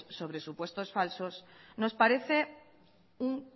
sobre supuestos falsos nos parece un